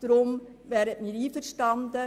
Deshalb sind wir damit einverstanden.